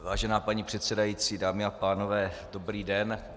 Vážená paní předsedající, dámy a pánové, dobrý den.